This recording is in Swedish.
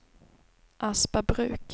Aspabruk